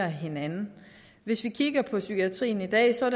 hinanden hvis vi kigger på psykiatrien i dag ser